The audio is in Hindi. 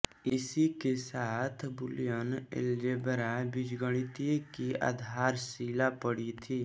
इसी के साथ बूलियन एलजेब्रा बीजगणित की आधारशिला पड़ी थी